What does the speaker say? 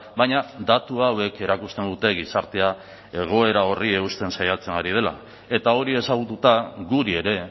baina datu hauek erakusten dute gizartea egoera horri eusten saiatzen ari dela eta hori ezagututa guri ere